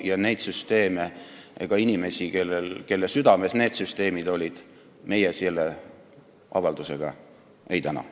Selliseid süsteeme ja ka inimesi, kelle südames need süsteemid olid, meie selle avaldusega ei täna.